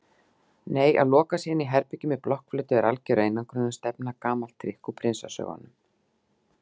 Nei að loka sig inní herbergi með blokkflautu er algjör einangrunarstefna, gamalt trikk úr prinsasögunum.